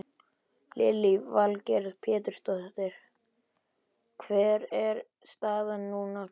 Lillý Valgerður Pétursdóttir: Hver er staðan núna Kristinn?